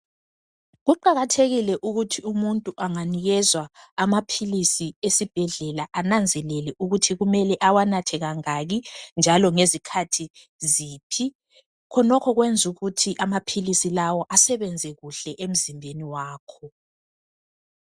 Kuqakathekile ukuthi umuntu anganikezwa amaphilisi esibhedlela ananzelele ukuthi kumele awanathe kangaki njalo ngezikhathi ziphi. Khonokho kwenza ukuthi amaphilisi lawa asebenze kuhle emzimbeni wakho.